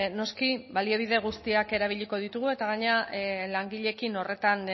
noski baliabide guztiak erabiliko ditugu eta gainera langileekin horretan